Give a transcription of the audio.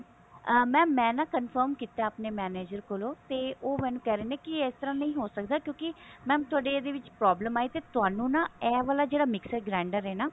ਅਮ mam ਮੈਂ ਨਾ confirm ਕੀਤਾ ਆਪਣੇ manager ਕੋਲੋਂ ਤੇ ਉਹ ਮੈਨੂੰ ਕਿਹ ਰਹੇ ਨੇ ਵੀ ਇਸ ਤਰ੍ਹਾਂ ਨਹੀਂ ਹੋ ਕਦਾ ਕਿਉਂਕੀ mam ਤੁਹਾਡੀ ਇਹਦੇ ਵਿੱਚ problem ਆਈ ਤੁਹਾਨੂੰ ਨਾ ਇਹ ਵਾਲਾ ਜਿਹੜਾ mixer grinder ਹੈ ਨਾ